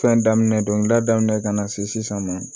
Fɛn daminɛ dongilida daminɛ ka na se sisan ma